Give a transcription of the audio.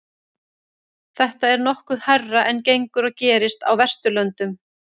þetta er nokkuð hærra en gengur og gerist á vesturlöndum